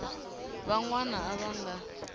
van wana a va nga